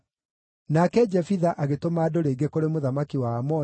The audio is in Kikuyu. Nake Jefitha agĩtũma andũ rĩngĩ kũrĩ mũthamaki wa Aamoni,